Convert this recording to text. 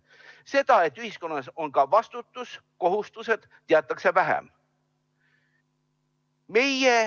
Seda, et ühiskonnas on ka vastutus ja kohustused, teatakse vähem.